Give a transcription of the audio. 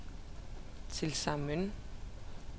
tilsammen